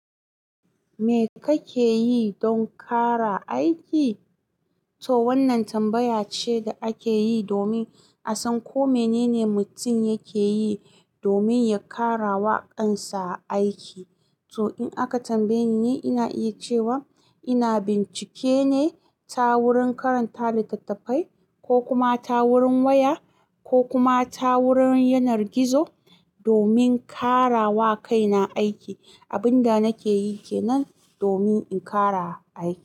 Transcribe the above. Me kake yi don ƙara aiki? To wannan tambaya ce da ake yi domin a san ko mene ne mutum yake yi domin ya ƙara waƙansa aiki. To in aka tambaye ni, ina iya cewa ina bincike ne ta wurin karanta littattafai ko kuma ta wurin waya, ko kuma ta wurin yanar gizo domin ƙara wakaina aiki. Abin da nake yi kenan domin in ƙara aiki.